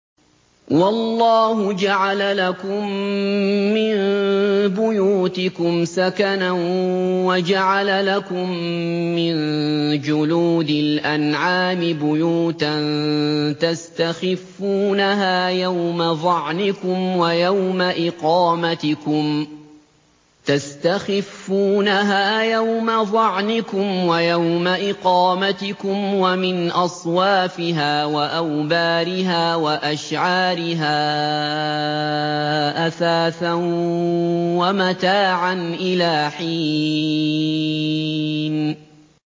وَاللَّهُ جَعَلَ لَكُم مِّن بُيُوتِكُمْ سَكَنًا وَجَعَلَ لَكُم مِّن جُلُودِ الْأَنْعَامِ بُيُوتًا تَسْتَخِفُّونَهَا يَوْمَ ظَعْنِكُمْ وَيَوْمَ إِقَامَتِكُمْ ۙ وَمِنْ أَصْوَافِهَا وَأَوْبَارِهَا وَأَشْعَارِهَا أَثَاثًا وَمَتَاعًا إِلَىٰ حِينٍ